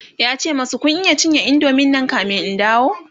yace masu "Kun cinye indomie Nan kamin in dawo!"